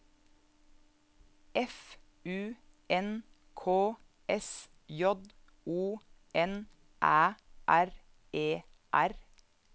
F U N K S J O N Æ R E R